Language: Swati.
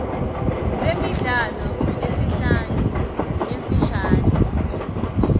lwemidlalo lesihlanu lemifishane